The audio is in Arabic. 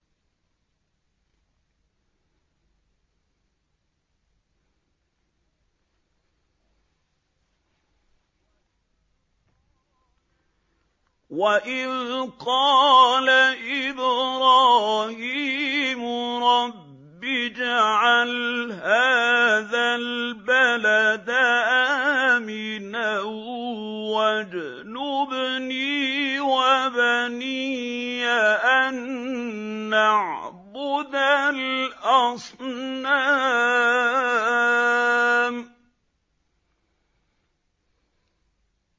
وَإِذْ قَالَ إِبْرَاهِيمُ رَبِّ اجْعَلْ هَٰذَا الْبَلَدَ آمِنًا وَاجْنُبْنِي وَبَنِيَّ أَن نَّعْبُدَ الْأَصْنَامَ